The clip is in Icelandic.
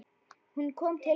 Hún kom til mín.